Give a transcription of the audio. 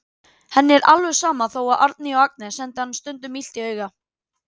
Henni er alveg sama þó að Árný og Agnes sendi henni stundum illt auga.